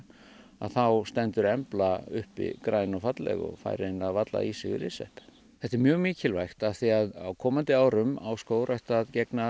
þá stendur embla uppi græn og falleg og fær eiginlega varla í sig ryðsvepp þetta er mjög mikilvægt af því að á komandi árum á skógrækt að gegna